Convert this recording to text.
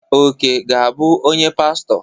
Oke ga-abụ onye pastọ.